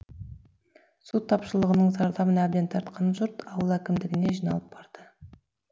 су тапшылығының зардабын әбден тартқан жұрт ауыл әкімдігіне жиналып барды